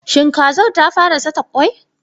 Shin kazar ta fa ra saka kwai?